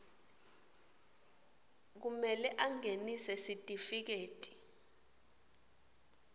kumele angenise sitifiketi